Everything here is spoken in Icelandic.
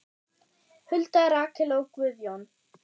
Hulda, Rakel og Guðjón.